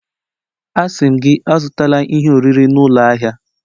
Asị m gị, Azụtala ihe oriri n'ụlọ ahịa!